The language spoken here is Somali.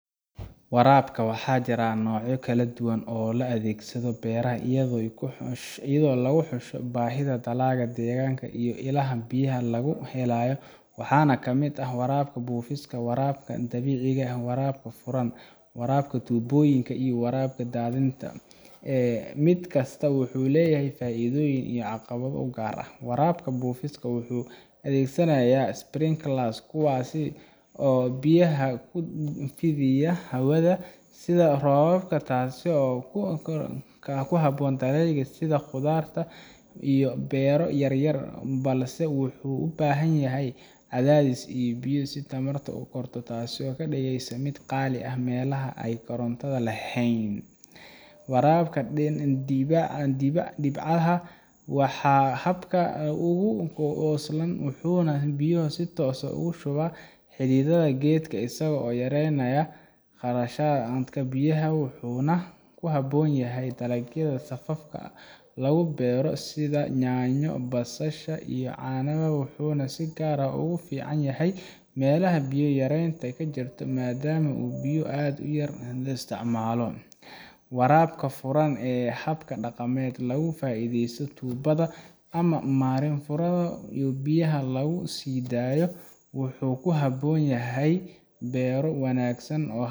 waraabka waxaa jira noocyo kala duwan oo loo adeegsado beeraha iyadoo lagu xusho baahida dalagga deegaanka iyo ilaha biyaha laga helayo waxaana kamid ah waraabka buufiska, waraabka dhibcaha, waraabka furan, waraabka tuubooyinka, iyo waraabka daadinta mid kasta wuxuu leeyahay faa’iidooyin iyo caqabado u gaar ah waraabka buufiska wuxuu adeegsanayaa sprinklers kuwaas oo biyaha ku fidiya hawada sida roobka taasoo ku habboon dalagyada sida khudaarta iyo beero yaryar balse wuxuu u baahan yahay cadaadis biyo leh iyo tamar koronto taasoo ka dhigaysa mid qaali ku ah meelaha aan koronto lahayn waraabka dhibcaha waa habka ugu wax ku oolsan wuxuuna biyo si toos ah ugu shubaa xididka geedka isagoo yareynaya khasaaraha biyaha wuxuuna ku habboon yahay dalagyada safafka lagu beero sida yaanyo, basasha, iyo canab wuxuuna si gaar ah ugu fiican yahay meelaha biyo yaraanta ka jirto maadaama uu biyo aad u yar isticmaalo waraabka furan waa hab dhaqameed laga faaiidaysanayo tubbada ama marin furan oo biyaha lagu sii daayo wuxuuna ku habboon yahay beero waaweyn halkaasoo